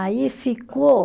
Aí ficou